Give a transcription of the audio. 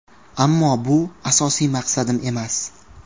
Ammo bu asosiy maqsadim emas.